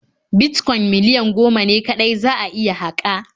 Bitcoin miliyan goma ne kaɗai za'a iya haƙa.